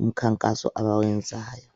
umkhankaso abawenzayo.